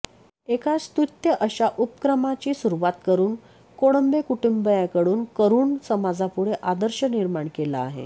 एका स्तुत्य अशा उपक्रमाची सुरूवात करून कोळंबे कुटुंबियांकडून करून समाजापुढे आदर्श निर्माण केला आहे